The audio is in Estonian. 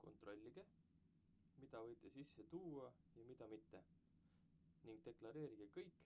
kontrollige mida võite sisse tuua ja mida mitte ning deklareerige kõik